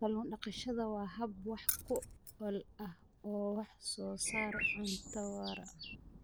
Kallun daqashada waa hab wax ku ool ah oo wax soo saar cunto waara.